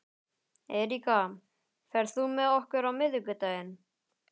Eiríka, ferð þú með okkur á miðvikudaginn?